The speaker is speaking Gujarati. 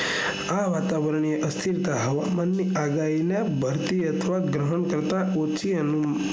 આ વાતાવરણ ની અસ્થિરતા હવામાન ની વધતી અથવા ગ્રહણ કરતા ઓછી